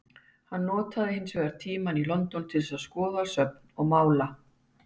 Hann notað hins vegar tímann í London til að skoða söfn og mála.